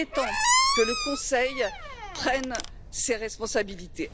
Il est temps que le Conseil prenne ses responsabilités.